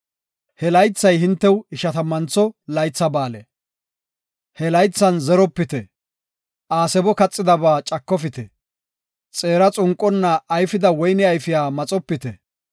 He laythay hintew Ishatammantho Laytha Ba7aale. He laythan zeropite; aasebo kaxidaba cakofite; xeera xunqonna ayfida woyne ayfiya maxopite.